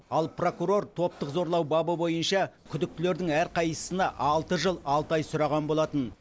ал прокурор топтық зорлау бабы бойынша күдіктілердің әрқайсысына алты жыл алты айдан сұраған болатын